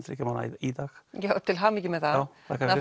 þriggja mánaða í dag já til hamingju með það og